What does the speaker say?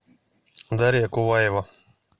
дарья куваева